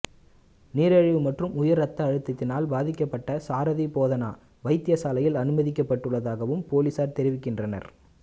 நீரிழிவு மற்றும் உயர் இரத்த அழுதத்தினால் பாதிக்கப்பட்ட சாரதி போதனா வைத்தியசாலையில் அனுமதிக்கப்பட்டுள்ளதாகவும் பொலிஸார் தெரிவிக்கின்றனர்